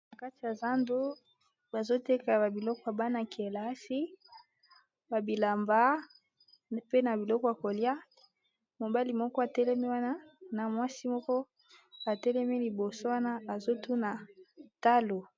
Na kati ya zando bazoteka ba biloko bana-kelasi babilamba pe na biloko ya kolia . Mobali moko atelemi wana na mwasi moko atelemi liboso wana azotuna talo.